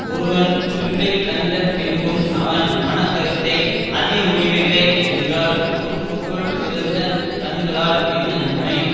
ஒருவன் குறிப்பை கண்ட பின்பும் அவன் மன கருத்தை அறியமுடியவில்லை என்றால் உறுப்புக்குள் சிறந்த கண்களால் என்ன நன்மை